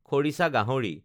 খৰিছা গাহৰি